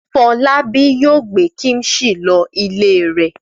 Fọlábí yóò gbé kíḿṣì lọ ilé rẹ̀.